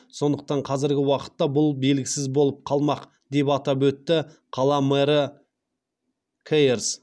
сондықтан қазіргі уақытта бұл белгісіз болып қалмақ деп атап өтті қала мэрі кейерс